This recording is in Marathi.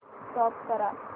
स्टॉप करा